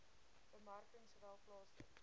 bemarking sowel plaaslik